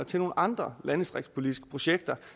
til nogle andre landdistriktspolitiske projekter